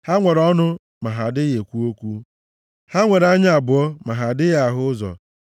Ha nwere ọnụ ma ha adịghị ekwu okwu, ha nwere anya abụọ ma ha adịghị ahụ ụzọ;